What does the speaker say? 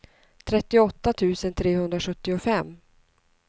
trettioåtta tusen trehundrasjuttiofem